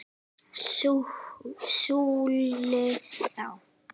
SKÚLI: Þá?